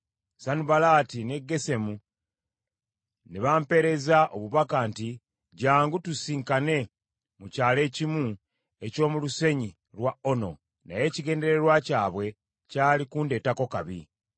Sanubalaati ne Gesemu ne bampeereza obubaka nti, “Jjangu tusisinkane mu kyalo ekimu eky’omu lusenyi lwa Ono.” Naye ekigendererwa kyabwe kyali kundeetako kabi.